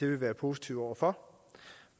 vil være positive over for